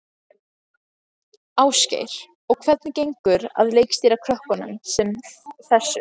Ásgeir: Og hvernig gengur að leikstýra krökkum sem þessu?